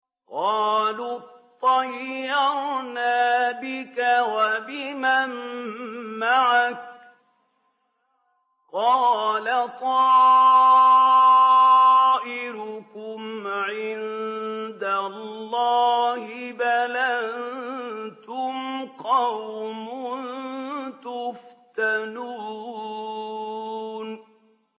قَالُوا اطَّيَّرْنَا بِكَ وَبِمَن مَّعَكَ ۚ قَالَ طَائِرُكُمْ عِندَ اللَّهِ ۖ بَلْ أَنتُمْ قَوْمٌ تُفْتَنُونَ